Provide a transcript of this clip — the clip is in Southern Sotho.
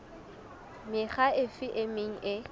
mekga efe e meng e